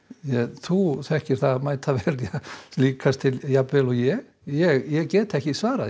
þú þekkir það líkast til jafn vel og ég ég get ekki svarað